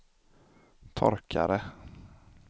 torkare